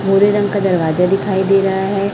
भूरे रंग का दरवाजा दिखाई दे रहा है।